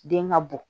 Den ka bɔ